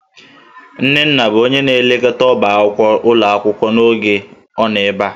Nnenna bụ onye na-elekọta ọbá akwụkwọ ụlọ akwụkwọ a n'oge ọ nọ ebe a